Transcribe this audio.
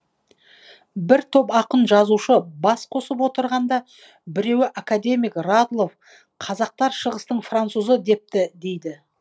бір топ ақын жазушы бас қосып отырғанда біреуі академик радлов қазақтар шығыстың французы депті дейді